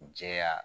Jɛya